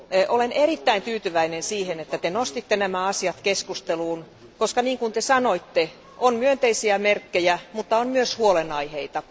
Olen erittäin tyytyväinen siihen, että Te nostitte nämä asiat keskusteluun, koska kuten sanoitte, on myönteisiä merkkejä, mutta on myös huolenaiheita.